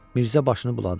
Mirzə başını buladı.